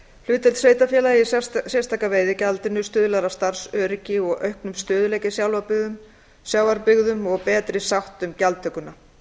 hlutdeild sveitarfélaga í sérstaka veiðigjaldinu stuðlar að starfsöryggi og auknum stöðugleika í sjávarbyggðum og betri sátt um gjaldtökuna